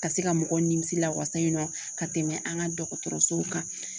Ka se ka mɔgɔw nimisi lawasa nɔ ka tɛmɛ an ka dɔgɔtɔrɔsow kan